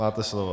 Máte slovo.